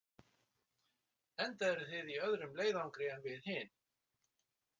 Enda eruð þið í öðrum leiðangri en við hin.